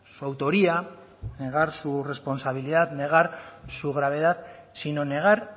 su autoría negar su responsabilidad negar su gravedad sino negar